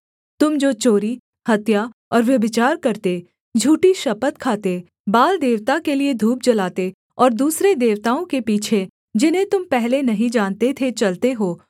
तुम जो चोरी हत्या और व्यभिचार करते झूठी शपथ खाते बाल देवता के लिये धूप जलाते और दूसरे देवताओं के पीछे जिन्हें तुम पहले नहीं जानते थे चलते हो